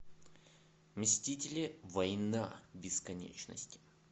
мстители война бесконечности